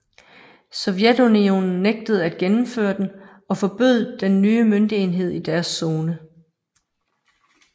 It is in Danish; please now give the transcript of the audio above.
Sovjetunionen nægtede at gennemføre den og forbød den nye møntenhed i deres zone